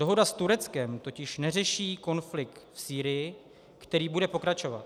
Dohoda s Tureckem totiž neřeší konflikt v Sýrii, který bude pokračovat.